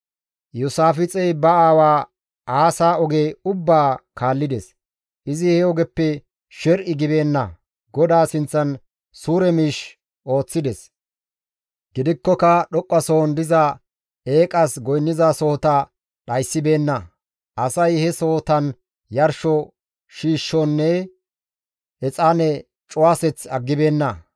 Iyoosaafixey ba aawaa Aasa oge ubbaa kaallides; izi he ogeppe sher7i gibeenna; GODAA sinththan suure miish ooththides. Gidikkoka dhoqqasohon diza eeqas goynnizasohota dhayssibeenna; asay he sohotan yarsho shiishonne exaane cuwaseth aggibeenna.